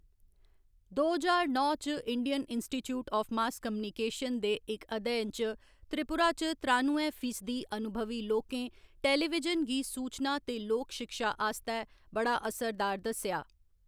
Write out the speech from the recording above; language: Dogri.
दो ज्हार नौ च Indian institute of mass communication दे इक अध्ययन च, त्रिपुरा च त्रानुएं फीसदी अनुभवी लोकें टेलीविजन गी सूचना ते लोक शिक्षा आस्तै बड़ा असरदार दस्सेआ।